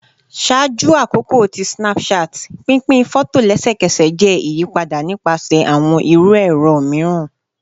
Ṣaaju akoko ti Snapchat, pinpin fọto lẹsẹkẹsẹ jẹ iyipada nipasẹ awọn iru ẹrọ miiran